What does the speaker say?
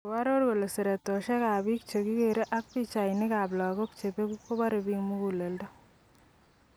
Koaror kole seretoshek ab bik chekikere ak pichainik kap lagok chebeku kobore bik muguleldo.